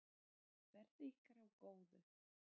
Verði ykkur að góðu.